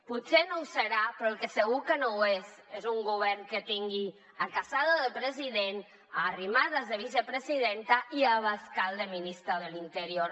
potser no ho serà però el que segur que no ho és és un govern que tingui a casado del president arrimadas de vicepresidenta i abascal de ministre de l’interior